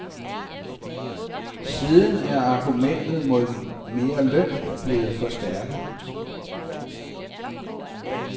Siden er argumentet mod mere løn blevet forstærket.